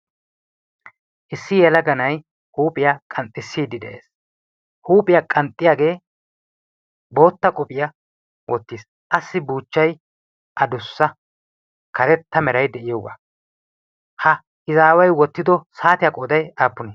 Issi yelaga nay huuphiya qanxxisside de'ees. huuphiyaa qanxxiyagee bootta qophiya wottiis. assi buchchay addussa karetta meray de'iyooga. ha izzaway wottido saatiya qoday aappunne?